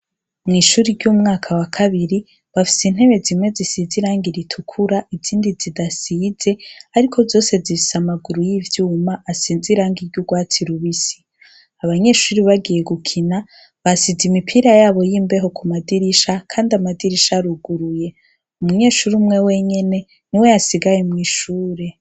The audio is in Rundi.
Mw'ishuri ry'umwaka wa kabiri bafise intebe zimwe zisizirangi ritukura izindi zidasize, ariko zose ziise amaguru y'ivyuma asenzirangi ry'urwatsi lubisi abanyeshuri bagiye gukina basize imipira yabo y'imbeho ku madirisha, kandi amadirisha ruguruye umunyeshuri umwe wenyene ni we yasigaye mw'ishure.